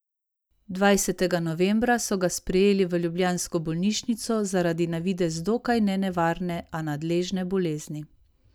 Dvajsetega novembra so ga sprejeli v ljubljansko bolnišnico zaradi na videz dokaj nenevarne, a nadležne bolezni.